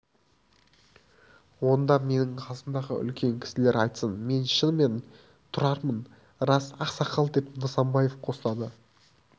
онда мына менің қасымдағы үлкен кісілер айтсын мен шынымен тұрармын рас ақсақал деп нысанбаев қостады